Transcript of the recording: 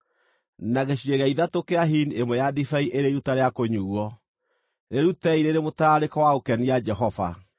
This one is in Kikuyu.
na gĩcunjĩ gĩa ithatũ kĩa hini ĩmwe ya ndibei ĩrĩ iruta rĩa kũnyuuo. Rĩrutei rĩrĩ mũtararĩko wa gũkenia Jehova.